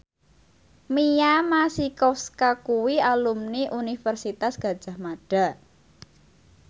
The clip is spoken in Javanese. Mia Masikowska kuwi alumni Universitas Gadjah Mada